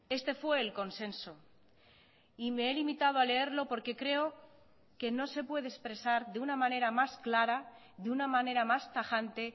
este fue el consenso y me he limitado a leerlo porque creo que no se puede expresar de una manera más clara de una manera más tajante